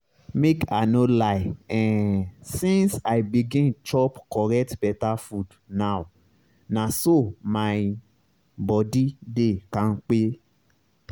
make i no lie[um]since i begin chop correct beta food now na so my body dey kampe